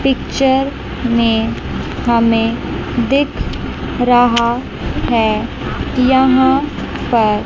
picture में हमें दिख रहा है यहां पर--